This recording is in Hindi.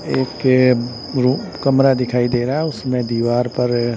एक ए रुम कमरा दिखाई दे रहा है उसमें दीवार पर--